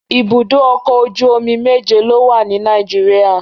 Ibùdó ọkọ̀ ojú omi méje ló wà ní Nàìjìríà.